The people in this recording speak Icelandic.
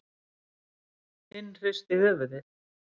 Hinn hristi höfuðið.